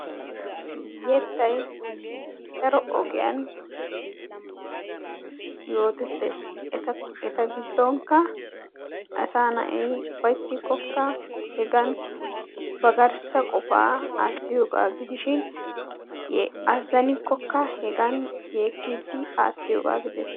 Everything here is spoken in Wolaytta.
Yettay daro ogiyan yootettees. Eta giddonkka asaa na'ay ufayttikkokka hegan ba garssa qofaa aattiyogaa gidishin azzanikkokka hegan yeekkiiddi aattiyogaa gidees.